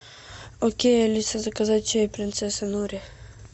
окей алиса заказать чай принцесса нури